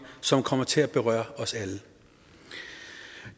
som kommer til at berøre os alle